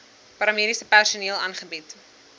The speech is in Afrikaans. paramediese personeel aangebied